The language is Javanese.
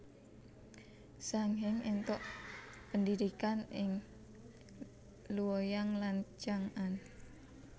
Zhang Heng éntuk pendhidhikan ing Luoyang lan Chang an